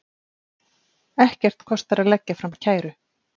Ekkert kostar að leggja fram kæru.